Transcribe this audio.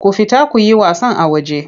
Ku fita ku yi wasan a waje!